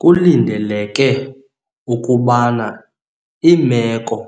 Kulindeleke ukubana iimeko